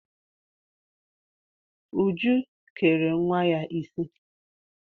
Uju kere nwa ya isi.